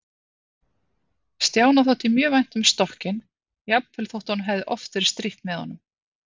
Stjána þótti mjög vænt um stokkinn, jafnvel þótt honum hefði oft verið strítt með honum.